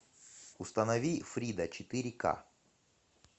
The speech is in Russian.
установи фрида четыре ка